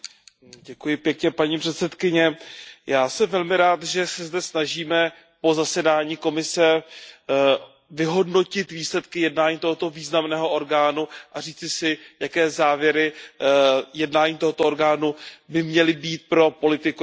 Paní předsedající, já jsem velmi rád, že se zde snažíme po zasedání komise vyhodnotit výsledky jednání tohoto významného orgánu a říci si, jaké závěry jednání tohoto orgánu by měly být pro politiku Evropské unie.